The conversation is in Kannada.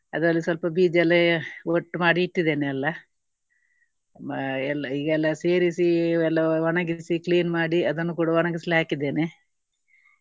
ಅದರಲ್ಲಿ ಸ್ವಲ್ಪ ಬೀಜ ಎಲ್ಲ ಒಟ್ಟು ಮಾಡಿ ಇಟ್ಟಿದ್ದೇನೆ ಎಲ್ಲಾ. ಆ ಎಲ್ಲ ಈಗ ಎಲ್ಲ ಸೇರಿಸಿ ಎಲ್ಲ ಒಣಗಿಸಿ clean ಮಾಡಿ ಅದನ್ನು ಕೂಡ ಒಣಗಿಸ್ಲಿಕ್ಕೆ ಹಾಕಿದ್ದೇನೆ.